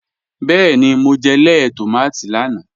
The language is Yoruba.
Bẹẹ́ni, mo jẹ̀ lẹẹ̀ tomati lánà.